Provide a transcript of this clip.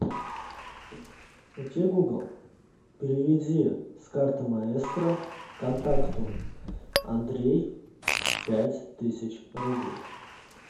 окей гугл переведи с карты маэстро контакту андрей пять тысяч рублей